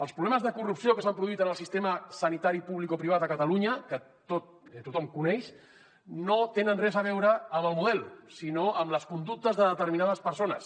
els problemes de corrupció que s’han produït en el sistema sanitari publicoprivat a catalunya que tothom coneix no tenen res a veure amb el model sinó amb les conductes de determinades persones